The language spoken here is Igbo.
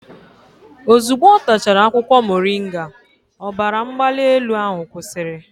Ozugbo ọ tachara akwụkwọ moringa, ọbara mgbali elu ahụ kwụsịrị